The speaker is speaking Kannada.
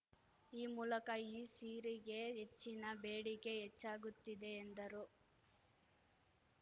ಈ ಮೂಲಕ ಈ ಸೀರೆಗೆ ಹೆಚ್ಚಿನ ಬೇಡಿಕೆ ಹೆಚ್ಚಾಗುತ್ತಿದೆ ಎಂದರು